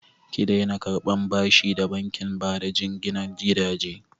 Ki daina karɓan bashi da bankin bada jinginan gidaje!